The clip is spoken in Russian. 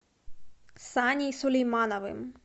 саней сулеймановым